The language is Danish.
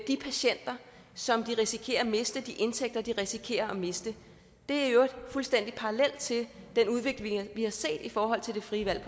de patienter som de risikerer at miste de indtægter som de risikerer at miste det er i øvrigt fuldstændig parallelt til den udvikling vi har set i forhold til det frie valg